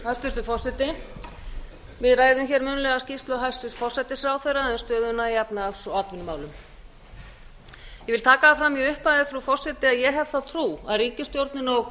hæstvirtur forseti við ræðum munnlega skýrslu hæstvirts forsætisráðherra um stöðuna í efnahags og atvinnumálum ég vil taka það fram í upphafi frú forseti að ég hef þá trú að ríkisstjórnin og